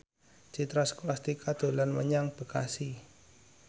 Citra Scholastika dolan menyang Bekasi